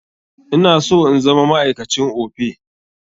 Ina so in zama ma'aikacin Opay.